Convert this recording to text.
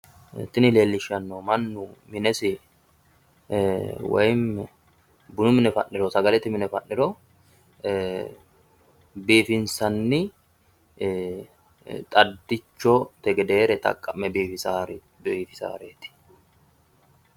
tini leellishshannohu mannu minesi woyi bunu mine fa'niro biifinsanni xaddichote gedeereti biifisaareeti.